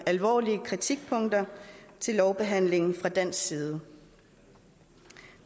alvorlige kritikpunkter til lovbehandlingen fra dansk side